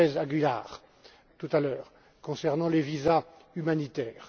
López Aguilar, tout à l'heure, concernant les visas humanitaires.